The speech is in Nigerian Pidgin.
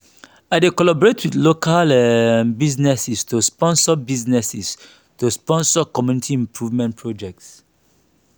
i dey collaborate with local um businesses to sponsor businesses to sponsor community improvement projects.